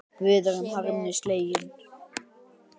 Við erum harmi slegin.